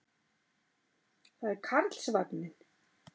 Það er Karlsvagninn.